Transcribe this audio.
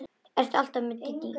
Ert þú alltaf með Dídí?